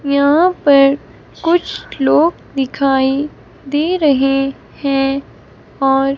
यहां पर कुछ लोग दिखाई दे रहे हैं और--